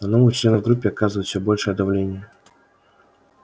на новых членов группы оказывают все большее давление